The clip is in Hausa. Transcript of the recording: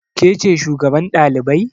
Ke ce shugaban ɗalibai?